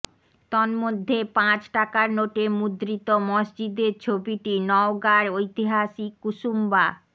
তন্মধ্যে পাঁচ টাকার নোটে মুদ্রিত মসজিদের ছবিটি নওগাঁর ঐতিহাসিক কুসুম্বা